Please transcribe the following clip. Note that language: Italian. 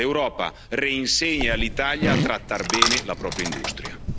L'Europa reinsegni all'Italia a trattare bene la propria industria.